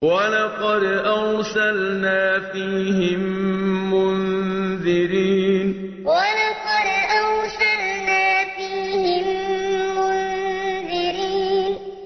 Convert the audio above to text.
وَلَقَدْ أَرْسَلْنَا فِيهِم مُّنذِرِينَ وَلَقَدْ أَرْسَلْنَا فِيهِم مُّنذِرِينَ